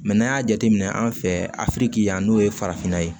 n'an y'a jateminɛ an fɛ afiriki yan n'o ye farafinna ye